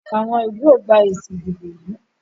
Àwọn ilú o gbà èsì ìdìbò yí.